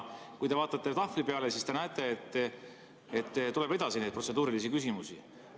Kui te vaatate tahvli peale, siis te näete, et tuleb edasi neid protseduurilisi küsimusi.